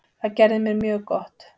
Það gerði mér mjög gott.